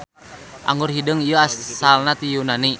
Anggur hideung ieu asalna ti Yunani.